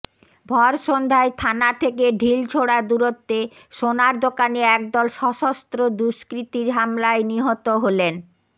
ভরসন্ধ্যায় থানা থেকে ঢিলছোড়া দূরত্বে সোনার দোকানে একদল সশস্ত্র দুষ্কৃতীর হামলায় নিহত হলেন